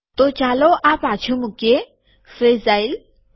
તો ચાલો આ પાછું મુકીએ ફ્રેજાઈલ